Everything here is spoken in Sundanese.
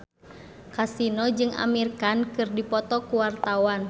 Kasino jeung Amir Khan keur dipoto ku wartawan